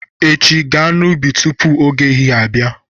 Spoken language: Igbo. Echi, gaa n'ubi tupu oge ehihie abịa!